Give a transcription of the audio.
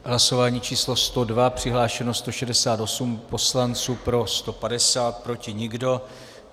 Hlasování číslo 102, přihlášeno 168 poslanců, pro 150, proti nikdo.